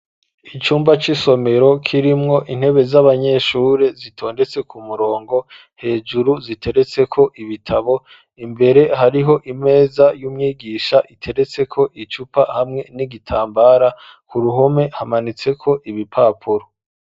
Icumba c'isomero kirimwo intebe z'abanyeshure zitondetse ku murongo hejuru ziteretse ko ibitabo imbere hariho imeza y'umwigisha iteretse ko icupa hamwe n'igitambara, ku ruhome hamanitse ko ibipapuro.